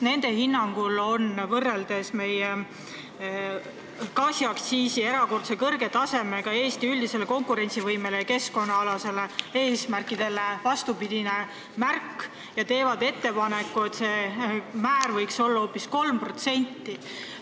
Nende hinnangul on meie gaasiaktsiis erakordselt kõrge, mõjudes halvasti Eesti üldisele konkurentsivõimele ja keskkonnaalaste eesmärkide saavutamisele, ning nad teevad ettepaneku, et see määr võiks olla hoopis 3%.